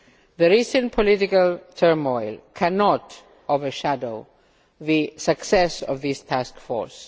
The recent political turmoil cannot overshadow the success of this Task Force.